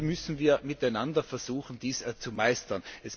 Und hier müssen wir miteinander versuchen, dies zu meistern.